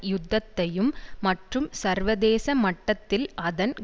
யுத்தத்தையும் மற்றும் சர்வதேச மட்டத்தில் அதன்